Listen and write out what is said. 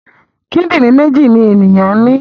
Kídìrín méjì ni ènìyàn ní.